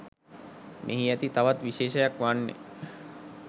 මෙහි ඇති තවත් විශේෂයක් වන්නේ